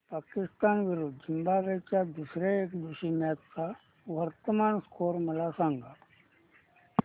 पाकिस्तान विरुद्ध झिम्बाब्वे च्या दुसर्या एकदिवसीय मॅच चा वर्तमान स्कोर मला सांगा